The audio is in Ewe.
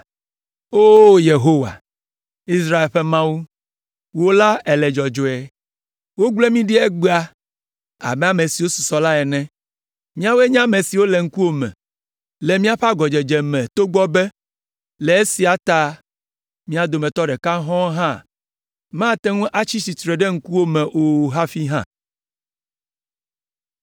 O Yehowa, Israel ƒe Mawu, wò la, èle dzɔdzɔe! Wogble mí ɖi egbea abe ame siwo susɔ la ene. Míawoe nye si le ŋkuwò me le míaƒe agɔdzedze me togbɔ be, le esia ta mía dometɔ ɖeka hɔ̃ɔ hã mate ŋu atsi tsitre ɖe ŋkuwò me o hafi hã.”